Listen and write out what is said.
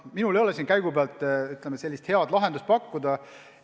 Minul ei ole siin käigupealt head ideed pakkuda.